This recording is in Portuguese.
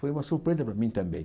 Foi uma surpresa para mim também.